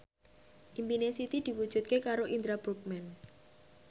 impine Siti diwujudke karo Indra Bruggman